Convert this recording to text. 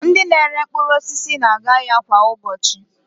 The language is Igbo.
Ndị na-ere mkpụrụosisi na-aga ahịa kwa ụbọchị